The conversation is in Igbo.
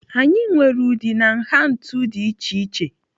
Anyị nwere ụdị na nha ntu dị iche iche.